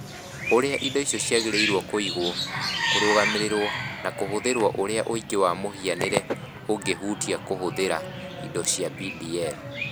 Ũrĩa indo icio ciagĩrĩirũo kũigwo, kũrũgamĩrĩrũo, na kũhũthĩrũo Ũrĩa ũũgĩ wa mũhianĩre ũngĩhutia kũhũthĩra indo cia DPL?